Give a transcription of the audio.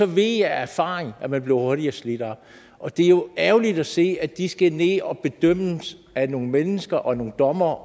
ved jeg af erfaring at man hurtigere bliver slidt op og det er jo ærgerligt at se at de skal ned og bedømmes af nogle mennesker og nogle dommere